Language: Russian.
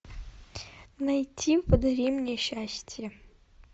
найти подари мне счастье